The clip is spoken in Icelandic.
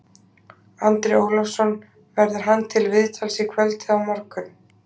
Andri Ólafsson: Verður hann til viðtals í kvöld eða á morgun?